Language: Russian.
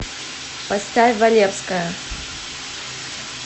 поставь валевская